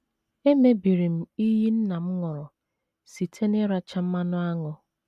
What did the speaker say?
Emebiri m iyi nna m ṅụrụ site n’ịracha mmanụ aṅụ.